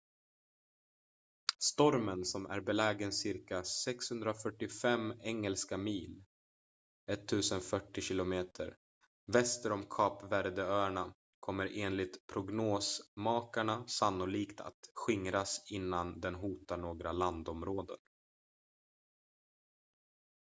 stormen som är belägen cirka 645 engelska mil 1040 km väster om kap verde-öarna kommer enligt prognosmakarna sannolikt att skingras innan den hotar några landområden